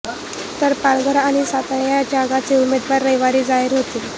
तर पालघर आणि सातारा या जागांचे उमेदवार रविवारी जाहीर होतील